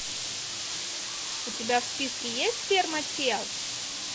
у тебя в списке есть ферма тел